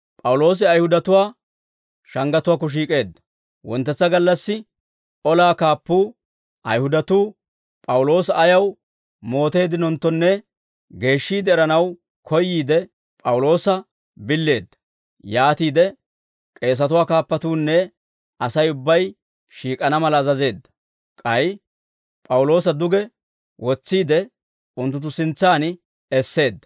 Wonttetsa gallassi olaa kaappuu, Ayihudatuu P'awuloosa ayaw mooteeddinonttonne geeshshiide eranaw koyyiide, P'awuloosa billeedda. Yaatiide k'eesatuwaa kaappatuunne Asay ubbay shiik'ana mala azazeedda; k'ay P'awuloosa duge wotsiide, unttunttu sintsan esseedda.